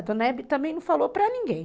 A dona Hebe também não falou para ninguém.